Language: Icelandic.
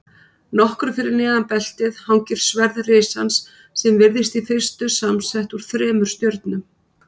Nokkru fyrir neðan beltið hangir sverð risans sem virðist í fyrstu samsett úr þremur stjörnum.